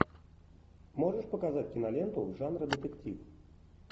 можешь показать киноленту жанра детектив